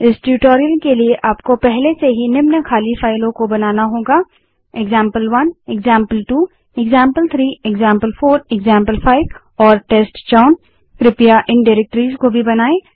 इस ट्यूटोरियल के लिए आप को पहले से ही example one example two example three example four example five और टेस्टचाउन के रूप में नामित खाली फाइलों को बनाना होगा